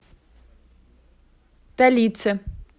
талице